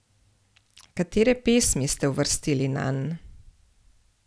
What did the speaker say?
Katere pesmi ste uvrstili nanj?